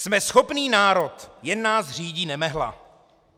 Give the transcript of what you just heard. Jsme schopný národ, jen nás řídí nemehla.